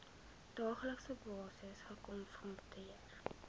daaglikse basis gekonfronteer